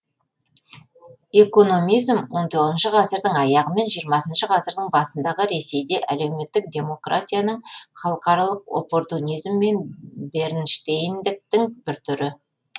экономизм он тоғызыншы ғасырдың аяғы мен жиырмасыншы ғасырдың басындағы ресейде әлеуметтік демократияның халықаралық оппортунизм мен бернштейндіктің бір түрі